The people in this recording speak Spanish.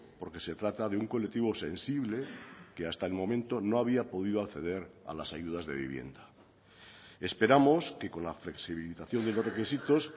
porque se trata de un colectivo sensible que hasta el momento no había podido acceder a las ayudas de vivienda esperamos que con la flexibilización de los requisitos